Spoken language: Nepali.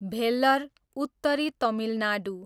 भेल्लर, उत्तरी तमिलनाडू